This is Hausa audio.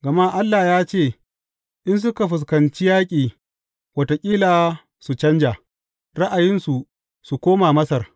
Gama Allah ya ce, In suka fuskanci yaƙi, wataƙila su canja ra’ayinsu su koma Masar.